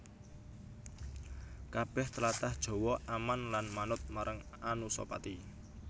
Kabèh tlatah Jawa aman lan manut marang Anusapati